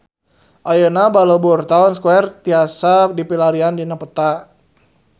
Ayeuna Balubur Town Square tiasa dipilarian dina peta